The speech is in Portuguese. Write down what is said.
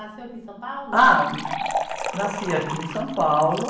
Nasceu aqui em São Paulo?h, nasci aqui em São Paulo.